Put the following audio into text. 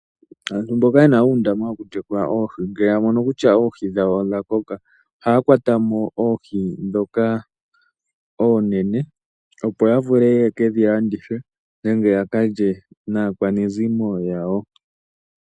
Aantu mboka yena uundama wokutekula oohi ngele yamono kutya oohi dhawo odha koka, ohaya kwatamo oohi ndhoka oonene opo yavule yekedhi landithe nenge yakalye naakwanezimo yawo.